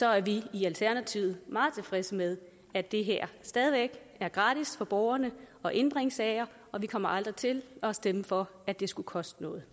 er vi i alternativet meget tilfredse med at det stadig væk er gratis for borgerne at indbringe sager og vi kommer aldrig til at stemme for at det skulle koste noget